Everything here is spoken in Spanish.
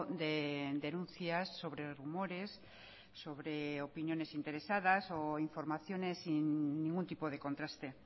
de denuncias sobre rumores sobre opiniones interesadas o informaciones sin ningún tipo de contraste